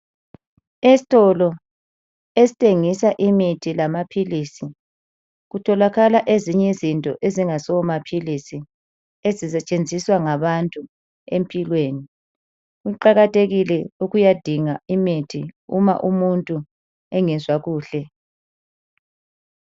Esitolo esithengisa imithi lamaphilisi kutholakala ezinye izinto ezingasomaphilisi ezisetshenziswa ngabantu empilweni. Kuqakathekile ukuyadinga imithi uma umuntu engezwakuhle.